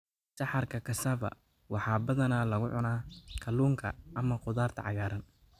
Saxarka Cassava waxaa badanaa lagu cunaa kalluunka ama khudaarta cagaaran.